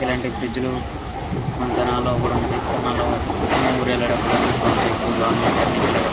ఇలాంటి బ్రిడ్జి లు మన తెనాలి కూడా కనిపిస్తాయి మన ఊర్లో వెళ్ళేఅప్పుడు కనిపిస్తుంటాయి.